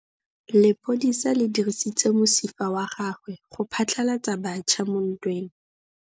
Lepodisa le dirisitse mosifa wa gagwe go phatlalatsa batšha mo ntweng.